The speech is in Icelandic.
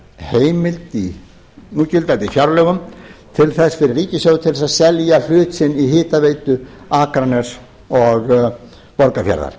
heimild í núgildandi fjárlögum til þess fyrir ríkisstjórn að selja hlutinn í hitaveitu akraness og borgarfjarðar